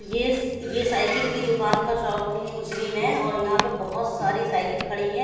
Yes ये cycle की दुकान का शॉप की मशीन है और यहां पे बहती सारी साइकिल खड़ी है।